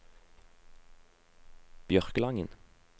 Bjørkelangen